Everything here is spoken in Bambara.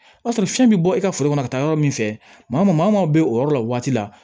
O y'a sɔrɔ fiɲɛ bɛ bɔ e ka foro kɔnɔ ka taa yɔrɔ min fɛ maa maaw bɛ o yɔrɔ la waati la